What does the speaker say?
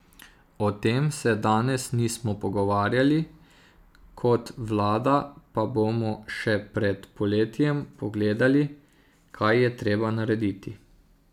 O tem se danes nismo pogovarjali, kot vlada pa bomo še pred poletjem pogledali, kaj je treba narediti.